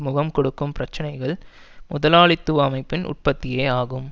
முகம் கொடுக்கும் பிரச்சினைகள் முதலாளித்துவ அமைப்பின் உற்பத்தியேயாகும்